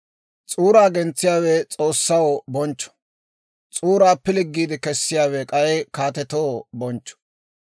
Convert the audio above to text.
S'uuraa gentsiyaawe S'oossaw bonchcho; s'uuraa pilggiide kessiyaawe k'ay kaatetoo bonchcho.